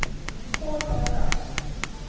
Kol eða gas?